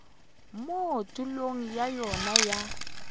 mo tulong ya yona ya